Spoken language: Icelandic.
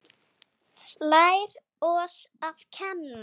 Lær oss að kenna